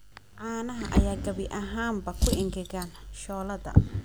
Caanaha ayaa gabi ahaanba ku engegan shooladda.